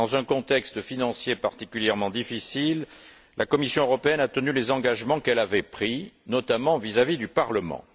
Dans un contexte financier particulièrement difficile, la Commission européenne a tenu les engagements qu'elle avait pris, notamment, vis à vis du Parlement.